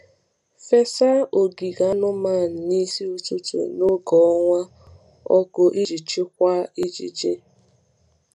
Fesa ogige anụmanụ n’isi ụtụtụ n’oge ọnwa ọkụ iji chịkwaa ijiji.